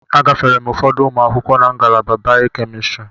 Agafere m ụfọdụ ụmụ akwụkwọ na ngalaba Bay-Kemistri.